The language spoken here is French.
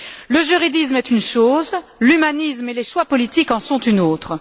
Le juridisme est une chose, l'humanisme et les choix politiques en sont une autre.